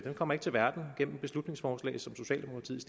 kommer ikke til verden gennem beslutningsforslag som socialdemokratiet